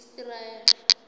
isiraele